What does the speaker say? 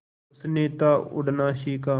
उसने था उड़ना सिखा